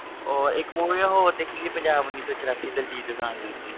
ਉਹ ਇੱਕ movie ਮੈਂ ਹੋਰ ਦੇਖੀ ਸੀ ਪੰਜਾਬ ਉੱਨੀ ਸੌ ਚੁਰਾਸੀ ਦਲਜੀਤ ਦੋਸਾਂਝ ਦੀ,